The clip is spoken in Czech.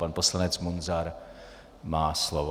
Pan poslanec Munzar má slovo.